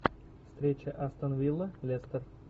встреча астон вилла лестер